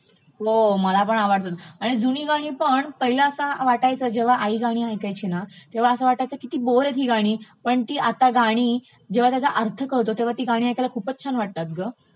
हो मलापण आवडतात, आणि जुनी गाणीपण पहिले असं वाटायचं जेव्हा आई गाणी ऐकायची ना, तेव्हा असं वाटायचं किती बोर ही आहेत ही गाणी, पण ती आता गाणी जेव्हा त्याचा अर्थ कळतो तेव्हा ती गाणी ऐकायला खूपचं छान वाटतात ग